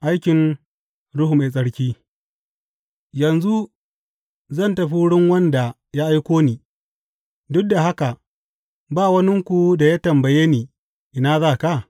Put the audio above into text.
Aikin Ruhu Mai Tsarki Yanzu zan tafi wurin wanda ya aiko ni, duk da haka ba waninku da ya tambaye ni, Ina za ka?’